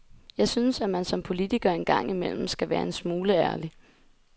Jeg synes, at man som politiker en gang imellem skal være en lille smule ærlig.